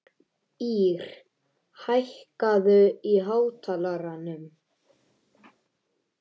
Ír, hækkaðu í hátalaranum.